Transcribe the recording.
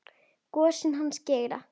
Gosinn hans Geira.